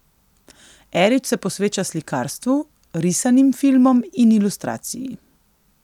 Erič se posveča slikarstvu, risanim filmom in ilustraciji.